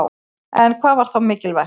En hvað var þá mikilvægt?